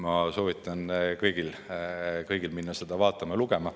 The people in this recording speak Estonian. Ma soovitan kõigil seda vaadata ja lugeda.